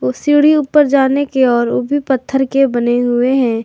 सीढ़ी ऊपर जाने की और वो भी पत्थर के बने हुए हैं।